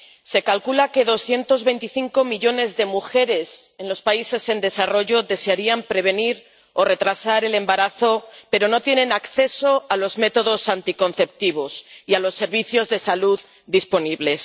Se calcula que 225 millones de mujeres en los países en desarrollo desearían prevenir o retrasar el embarazo, pero no tienen acceso a los métodos anticonceptivos y a los servicios de salud disponibles.